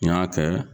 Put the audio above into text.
N y'a kɛ